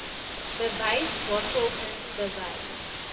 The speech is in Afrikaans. bewys waarvolgens bewys